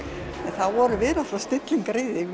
þá vorum við snillingar